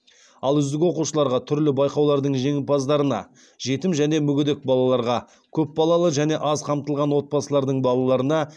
ал үздік оқушыларға түрлі байқаулардың жеңімпаздарына жетім және мүгедек балаларға көп балалы және аз қамтылған отбасылардың балаларына